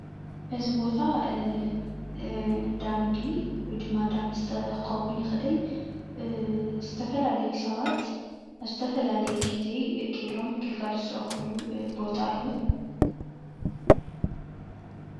እዚ ቦታ እንዳ ምግቢ ወይ ድማ እንዳ መስተ ክኸዉን ይኽእል እዩ። ዝተፈላልዩ ሰባት ብዝተፈላለየ ግዜ ከይዶም ግልጋሎት ዝረኽብሉ ቦታ እዩ።